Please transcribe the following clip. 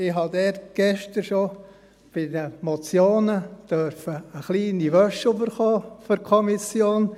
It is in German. Ich habe dort gestern schon bei den Motionen für die Kommission eine kleine Wäsche erhalten dürfen.